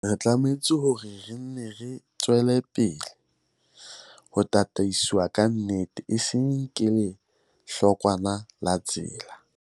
Re tlameha hore re nne re tswele pele ho tataiswa ke nnete, e seng ke hlokwana la tsela.